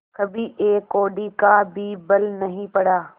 कभी एक कौड़ी का भी बल नहीं पड़ा